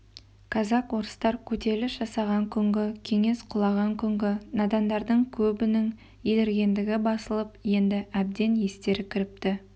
казак-орыстар көтеріліс жасаған күнгі кеңес құлаған күнгі надандардың көбінің еліргендігі басылып енді әбден естері кіріпті